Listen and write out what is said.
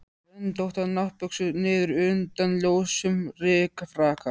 Röndóttar náttbuxur niður undan ljósum rykfrakka.